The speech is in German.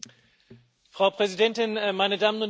Frau Präsidentin, meine Damen und Herren!